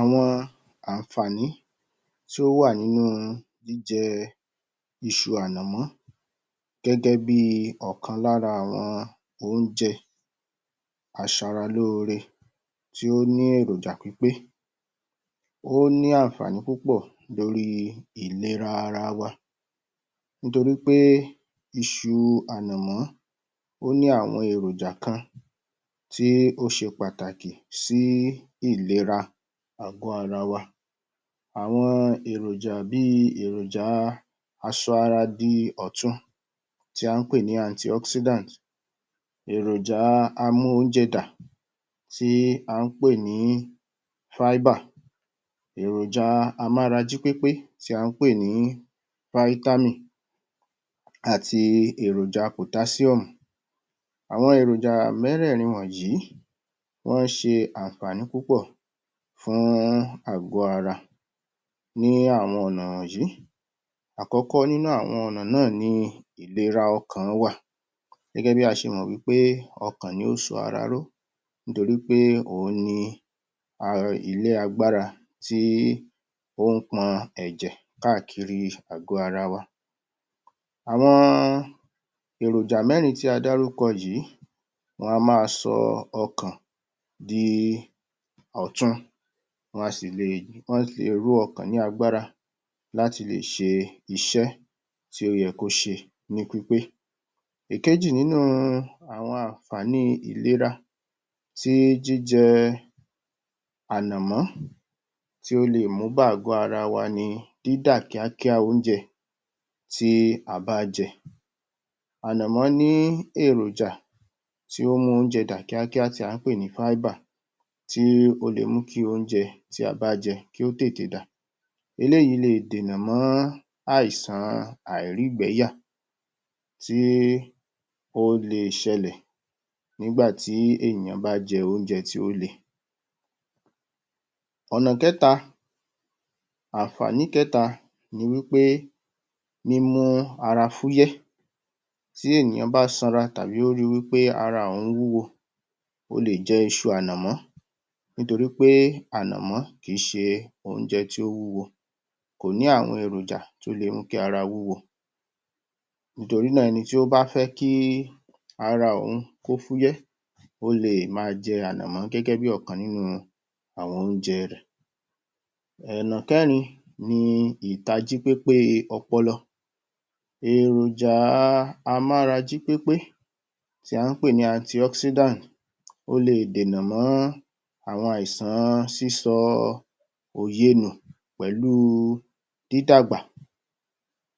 Awọ̀n àǹfààní tí ó wà nínú jíjẹ iṣu ànàmọ́ Gẹ́gẹ́ bíi Ọ̀kan lára àwọn oúnjẹ aṣara lóòrè tí ó ní èròjà pípé, ó ní àǹfààní púpọ̀ lórí ìlera ara wa nítorí pé iṣu ànàmọ́ ní àwọn èròjà kan tí ó ṣe pàtàkì sí ìlera àgọ́ ara wa, àwọn èròjà bíi èròjà aṣọ di ọ̀tun tí à ń pè ní anti oxidant, àwọn èròjà amú-ounje-dà tí à ń pè ní Fibre èròjà eròjà amára-jí-pépé TÍ à ń pè ní Vitamin àti èròjà pòtásíọ́mù, àwọn èròjà mẹ́rẹ̀ẹ̀rin wọ̀nyí wọ́n ń ṣe àǹfààní púpọ̀ fún àgọ́ ara ní àwọn ọ̀nà wọ̀nyí, àkọ́kọ́ nínú àwọn ọ̀nà yìí ni ìlera ọkàn wà gẹ́gẹ́ bí a ṣe mọ̀ pé ọkàn ni ó so ara ró nítorí pé òun ni ilé agbára tí ó ń pọn ẹ̀jẹ̀ káàkiri gbogbo àgọ́ ara wa, àwọn èròjà mẹ́rin tí a dárúkọ yìí a máa sọ ọkàn di ọ̀tun wọn a sì lè ró ọkàn lágbára láti le ṣe iṣẹ́ tí ó yẹ kí ó ṣe ní pípé, ìkejì nínú àǹfààní tí ìlera tí jíjẹ ànàmọ̀ tí ó lemú bá ààgọ́ ara wa ni dídà kíá kíá oúnjẹ tí a bá jẹ, ànàmọ̀ ní èròjà t tí ó ń mú oúnjẹ dà kíá kíá tí à ń pè ní Fibre tí ó lè mú kí oúnjẹ tí a bá jẹ kí ó tètè dà, eléyìí lè dènà mọ́ àìsàn àìrígbẹ̀ẹ́yà tí ó lè ṣẹlẹ̀ nígbà tí ènìyàn bá jẹ oúnjẹ tí ó le, ọ̀nà kẹta, àǹfààní kẹta ni pé mímú ara fúyẹ́ tí ènìyàn bá sanra tàbí tí ó bá rí wí pé pé ara òun wúwo, ó lè jẹ iṣu ànàmọ̀ nítorí pé ìṣù ànàmọ̀ kìí se oúnjẹ tí ó wúwo, kò ní àwọn èròjàkò ní àwọn èròjà tí ó lè mú kí ara wúwo nítorí náà, ẹni tí ó bá fẹ́ kí ara òun fúyẹ́ ó lè máa jẹ ànàmọ̀ gẹ́gẹ́ bí ọ̀kan lára àwọn oúnjẹ rẹ, ọ̀nà kẹrin ni ìtají pépé ọpọlọ, èròjà amára jí pépé tí à ń pè ní anti oxidant ó lè dènà mọ àwọn àìsàn sísọ òye nù pẹ̀lú dídàgbà